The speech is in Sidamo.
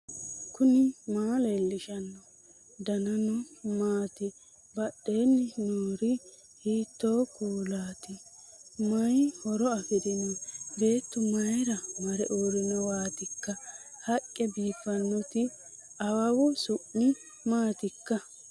knuni maa leellishanno ? danano maati ? badheenni noori hiitto kuulaati ? mayi horo afirino ? beetu mayra mare uurrinowaatikka haqqe biiffinoti awawu su'mi maatikka